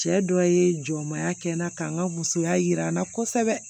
Cɛ dɔ ye jɔnmaya kɛ n na k'an ka musoya jira n na kosɛbɛ